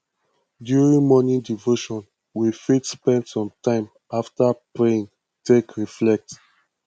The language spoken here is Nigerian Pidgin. during morning devotion we fit spend some time after praying take reflect